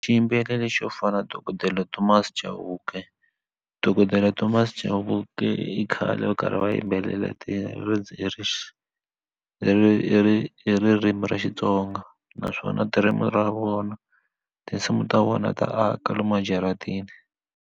Xiyimbeleri xo fana na dokodela thomas chauke dokodela thomas chauke i khale karhi va yimbelela Hi ririmi ra Xitsonga naswona ra vona tinsimu ta vona ta aka lomu a jaratini.